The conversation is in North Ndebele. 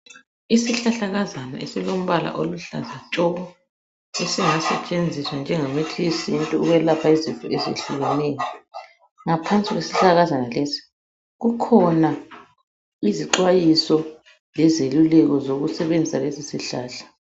Isihlahlakazana esilombala oluhlaza tshoko esingasetshenziswa njengemithi yesintu ukwelapha izifo ezitshiyeneyo. Ngaphansi kwesihlahlakazana lesi kukhona izixwayiso lezeluleko zokusebenzisa lesisihlahla.